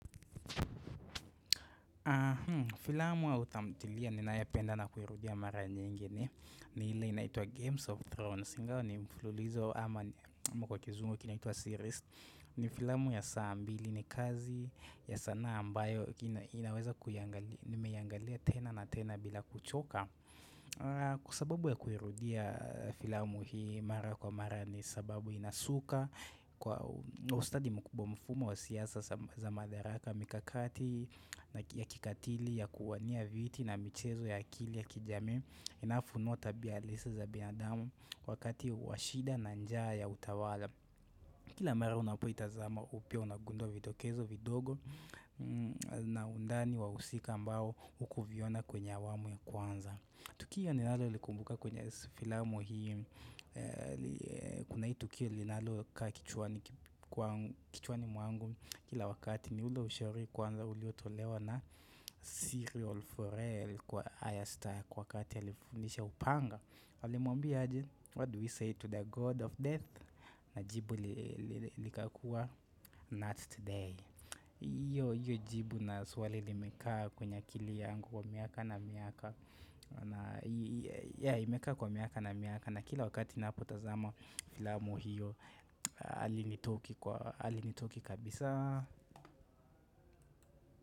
Filamu au tamthilia ninapenda na kuirudia mara nyingi ni ile inaitwa games of Thrones ingawa ni mfulizo ama kwa kizungu kinaitwa series ni filamu ya saa mbili ni kazi ya sanaa ambayo inaweza kuiangalia tena na tena bila kuchoka Kwa sababu ya kuirudia filamu hii mara kwa mara ni sababu inasuka kwa ustadi mkubwa mfumo wa siasa za madaraka mikakati na kikatili ya kuwania viti na michezo ya akili ya kijamii inayofunua tabia halisi za binadamu wakati wa shida na njaa ya utawala kila mara unapoitazama upya unagundua vidokezo vidogo na undani wahusika ambao hukuviona kwenye awamu ya kwanza tukio ninalolikumbuka kwenye filamu hio kuna hii tukio linalokaa kichwani kwangu mwangu Kila wakati ni ule ushauri kwanza uliotolewa na serial for air kwa ayra stark kwa wakati alifundisha upanga alimwambia aje what do we say to the god of death na jibu likakuwa not today iyo jibu na swali limekaa kwenye akili yangu kwa miaka na miaka na yeah imekaa kwa miaka na miaka na kila wakati na napotazama filamu hiyo halinitoki kabisa.